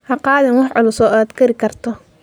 Ha qaadin waxa culus oo aad kari karto?